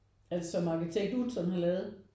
Altså som arkitekt Utzon har lavet?